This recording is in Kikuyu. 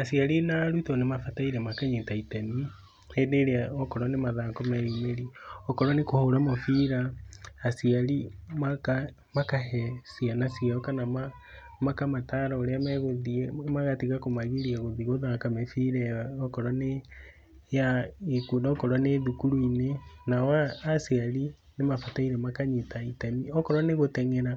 Aciari na arutwo nĩ mabatairie makanyita itemi hĩndĩ ĩrĩa angorwo nĩ mathako meyumĩrie okorwo nĩ kũhũra mũbira aciari makahe ciana ciao kana makamatara ũrĩa megũthiĩ magatiga kũmagiria gũthiĩ gũthaka mĩbira ĩyo i kũo okorwo nĩ cukuru-inĩ, nao aciari nĩ mabataire makanyita itemi okorwo nĩ gũtenyera